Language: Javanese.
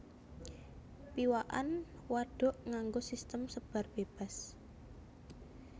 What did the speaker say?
Piwakan wadhuk nganggo sistem sebar bébas